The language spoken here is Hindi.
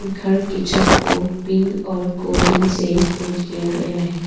घर की छत को पिंक और गोल्डन से पेंट किया गया है।